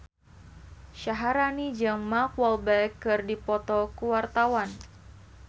Syaharani jeung Mark Walberg keur dipoto ku wartawan